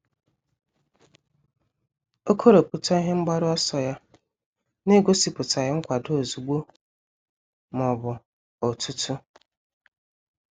O kọrọpụta ihe mgbaru ọsọ ya n'egosipụtaghi nkwado ozugbo ma ọ bụ otutu.